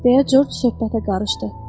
Deyə Corc söhbətə qarışdı.